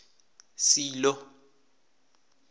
silo